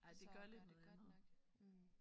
Altså at gøre det godt nok mh